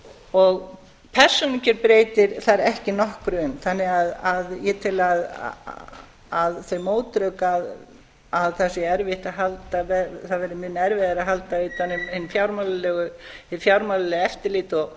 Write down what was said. og persónukjör breytir þar ekki nokkru um þannig að ég tel að þau mótrök að það verði mun erfiðara að halda utan um hið fjármálalega eftirlit